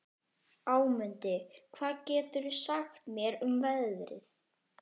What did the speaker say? Ámundi, hvað geturðu sagt mér um veðrið?